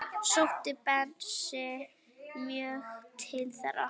Sótti Bensi mjög til þeirra.